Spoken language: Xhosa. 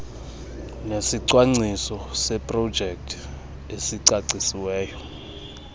nesicwangciso seprojekthi esicacisiweyo